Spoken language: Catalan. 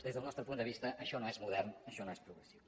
des del nostre punt de vista això no és modern això no és progressiu